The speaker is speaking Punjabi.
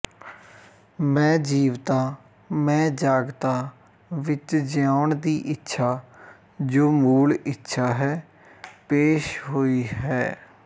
ਮੈਂ ਜੀਵਤਾ ਮੈਂ ਜਾਗਤਾ ਵਿੱਚ ਜਿਉਣ ਦੀ ਇੱਛਾ ਜੋ ਮੂਲ ਇੱਛਾ ਹੈ ਪੇਸ਼ ਹੋਈ ਹੈ